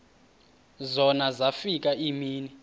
zona zafika iimini